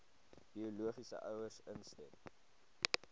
biologiese ouers instem